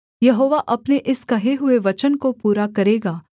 यहोवा अपने इस कहे हुए वचन को पूरा करेगा